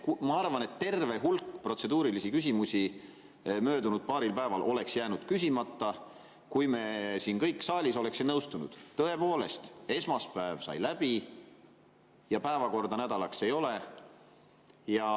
Ma arvan, et terve hulk protseduurilisi küsimusi möödunud paaril päeval oleks jäänud küsimata, kui kõik siin saalis oleksid nõustunud, et tõepoolest, esmaspäev sai läbi ja päevakorda selleks nädalaks ei ole.